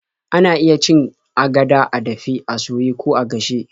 Ana iya cin agada a dafe, a soye, ko a gashe.